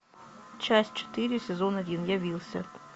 часть четыре сезон один явился